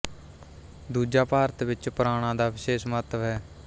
ਦੂਜਾ ਭਾਰਤ ਵਿੱਚ ਪੁਰਾਣਾ ਦਾ ਵਿਸ਼ੇਸ਼ ਮਹੱਤਵ ਹੈ